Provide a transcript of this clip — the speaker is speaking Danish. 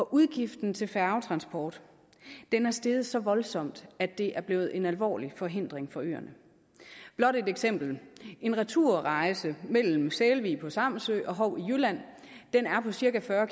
udgiften til færgetransport er steget så voldsomt at det er blevet en alvorlig forhindring for øerne blot et eksempel en returrejse mellem sælvig på samsø og hou i jylland er på cirka fyrre